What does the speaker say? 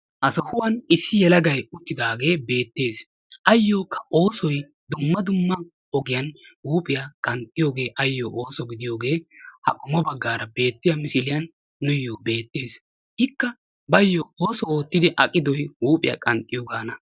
Ha sohuwan issi yelagayi uttidaage beettes. Ayyokka oosoyi dumma dumma ogiyan huuphiya qanxxiyooge ayyo ooso gidiyoge ha qommo baggaara beettiya misiliyan nuuyyo beettes. Ikka baayyo ooso oottidi aqidoyi huuphiya qanxxiyogaana.